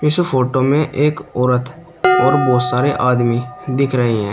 इस फोटो में एक औरत और बहोत सारे आदमी दिख रहे हैं।